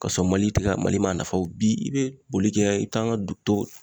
Ka sɔrɔ Mali tɛ ka Mali ma nafaw bi i bɛ boli kɛ i kan ka don